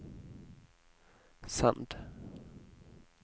send